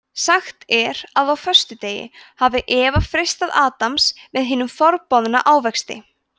sagt er að á föstudegi hafi eva freistað adams með hinum forboðna ávexti